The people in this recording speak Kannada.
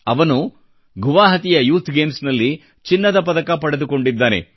ಅವನು ಗುವಹಾಟಿಯ ಯೂಥ್ ಗೇಮ್ಸ್ನಲ್ಲಿ ಚಿನ್ನದ ಪದಕ ಪಡೆದುಕೊಂಡಿದ್ದಾನೆ